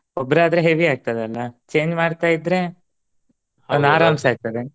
ಒಬ್ಬರಾದ್ರೆ heavy ಆಗ್ತದಲ್ಲಾ change ಮಾಡ್ತಾ ಇದ್ದರೆ .